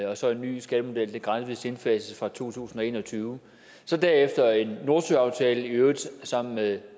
og så en ny skattemodel der gradvis indfases fra to tusind og en og tyve derefter en nordsøaftale i øvrigt sammen med